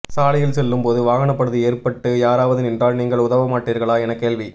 சாலையில் செல்லும் போது வாகன பழுது ஏற்பட்டு யாராவது நின்றால் நீங்கள் உதவமாட்டீர்களா என கேள்வி